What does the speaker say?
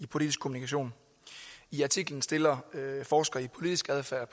i politisk kommunikation i artiklen stiller forsker i politisk adfærd